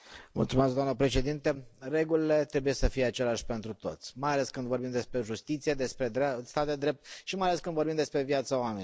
Doamnă președintă, regulile trebuie să fie aceleași pentru toți, mai ales când vorbim despre justiție, despre stat de drept și mai ales când vorbim despre viața oamenilor.